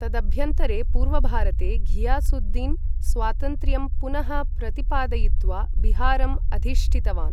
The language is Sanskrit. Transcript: तदभ्यन्तरे, पूर्वभारते, घियासुद्दीन् स्वातन्त्र्यं पुनः प्रतिपादयित्वा बिहारम् अधिष्ठितवान्।